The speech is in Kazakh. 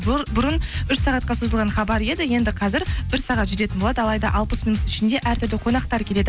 бұрын үш сағатқа созылған хабар еді енді қазір бір сағат жүретін болады алайда алпыс минуттың ішінде әртүрлі қонақтар келеді